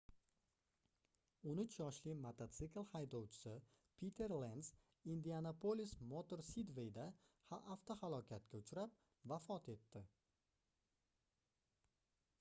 13 yoshli mototsikl haydovchisi piter lens indianapolis motor sidveyda avtohalokatga uchrab vafot etdi